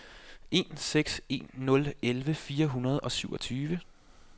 en seks en nul elleve fire hundrede og syvogtyve